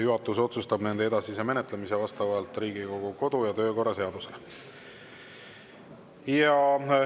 Juhatus otsustab nende edasise menetlemise vastavalt Riigikogu kodu- ja töökorra seadusele.